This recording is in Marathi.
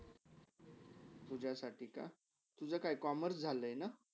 तुझ्यासाठी का तुझाकाय commerce झाला ना?